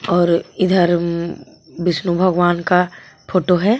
और इधर बीष्णू भगवान का फोटो है.